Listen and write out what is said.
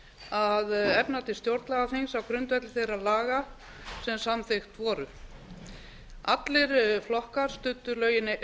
að efna til stjórnlagaþings á grundvelli þeirra efa sem samþykkt voru allir flokkar studdu lögin